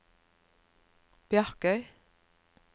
Bjarkøy